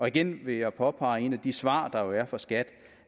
igen vil jeg påpege et af de svar der jo er fra skat